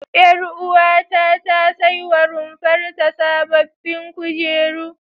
Ƴaruwata ta saiwa runfar ta sababbin kujeru.